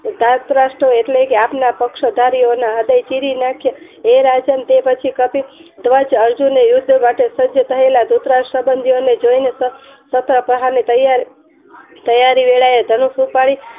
દરતરસો એટલેકે આપણા પક્ષો હાથમાં હૃદય ચીરી નાખે હે રાજન તું પછી ધ્વજ અર્જુને યુદ્ધ માટે સજ્જ થયેલા દ્રુતરાષ્ટ્રં સબંધી ઓ ને જોય ને શસ્ત્ર પ્રહાર ની તૈયારી તૈયારી વેળાએ ધનુર ઉપાડી